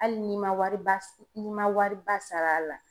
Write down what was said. Hali n'i man wari ba n'i man wariba sara a la.